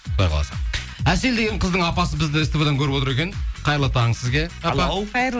құдай қаласа әсел деген қыздың апасы бізді ств дан көріп отыр екен қайырлы таң сізге